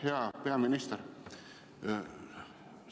Hea peaminister!